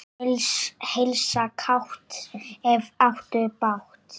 Heilsa kátt, ef áttu bágt.